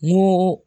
Ni